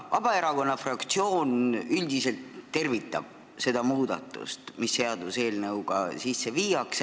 Vabaerakonna fraktsioon üldiselt tervitab seda muudatust, mis seaduseelnõuga sisse viiakse.